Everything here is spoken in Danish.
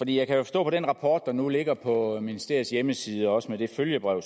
jeg kan jo forstå på den rapport der nu ligger på ministeriets hjemmeside og også på det følgebrev